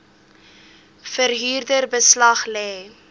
verhuurder beslag lê